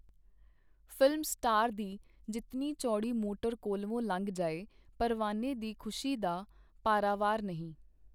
Film star ਦੀ ਜਿਤਨੀ ਚੌੜੀ ਮੋਟਰ ਕੋਲਵੋਂ ਲੰਘ ਜਾਏ, ਪਰਵਾਨੇ ਦੀ ਖੁਸ਼ੀ ਦਾ ਪਾਰਾਵਾਰ ਨਹੀਂ.